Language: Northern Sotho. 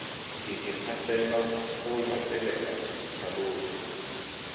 ke ikgafela go latelela dihlalošo